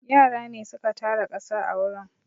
Yara ne su ka tara ƙasa a wurin.